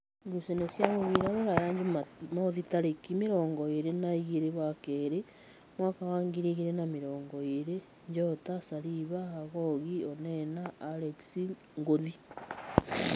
Ngucanio cia mũbira Rūraya Jumamothi tarĩki mĩrongo ĩrĩ na igĩrĩ wa keerĩ mwaka wa ngirĩ igĩrĩ na mĩrongo ĩrĩ: Njota, Saliva, Hagogi, Onena, Alex, Ngũthi